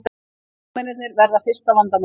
Leikmennirnir verða fyrsta vandamálið